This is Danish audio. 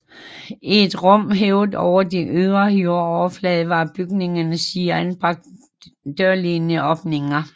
I et rum hævet over den ydre jordoverflade var i bygningens sider anbragt dørlignende åbninger